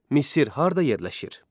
Misir harda yerləşir?